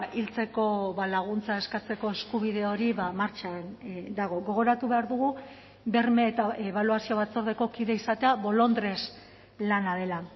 hiltzeko laguntza eskatzeko eskubide hori martxan dago gogoratu behar dugu berme eta ebaluazio batzordeko kide izatea bolondres lana dela